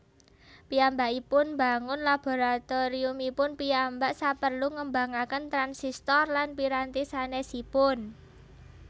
Piyambakipun mbangun laboratoriumipun piyambak saperlu ngembangaken transistor lan piranti sanésipun